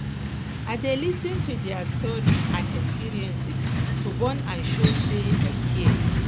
i dey lis ten to dia stories and experiences to bond and show sey i care